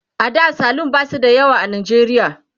a da salon ba su da yawa a najeriya